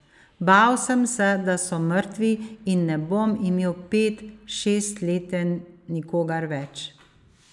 Bal sem se, da so mrtvi, in ne bom imel pet, šestleten nikogar več.